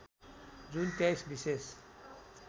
जुन २३ विशेष